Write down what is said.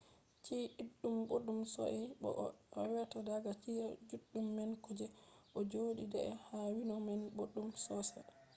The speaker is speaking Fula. chi’e ɗuɗɗum boɗɗum sosai bo ko a ewata daga chi’e juɗɗum man ko je ɗo joɗi deidei ha windo man boɗɗum sosai